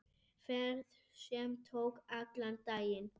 Ferð sem tók allan daginn.